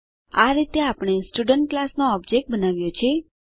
આ રીતે આપણે સ્ટુડન્ટ ક્લાસ નો ઓબજેક્ટ બનાવ્યો છે